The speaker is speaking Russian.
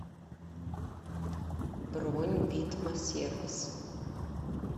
бронь витма сервис